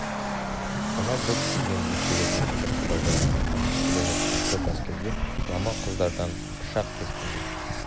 сонау бұлт сүйген биіктегі жіңішке қоба жолмен қайтып келе жатқан көп әскерге құлама құздардан пышақ кескендей